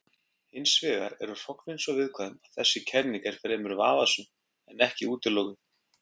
Hins vegar eru hrognin svo viðkvæm að þessi kenning er fremur vafasöm en ekki útilokuð.